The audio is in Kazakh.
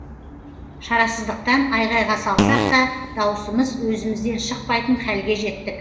шарасыздықтан айғайға салсақ та дауысымыз өзімізден шықпайтын хәлге жеттік